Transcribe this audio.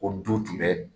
Ko du tun bɛ